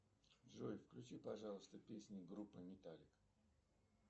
джой включи пожалуйста песни группы металлика